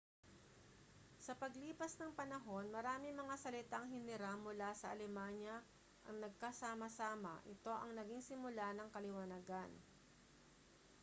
sa paglipas ng panahon maraming mga salitang hiniram mula sa alemanya ang nagkasama-sama ito ang naging simula ng kaliwanagan